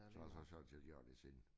Så og så solgte jeg de andre ting